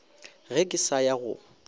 ge ke sa ya go